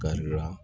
Ka yira